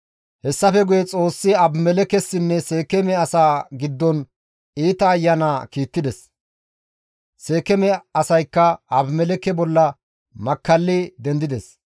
Hessafe guye Xoossi Abimelekkessinne Seekeeme asaa giddon iita ayana kiittides; Seekeeme asaykka Abimelekke bolla makkalli dendides.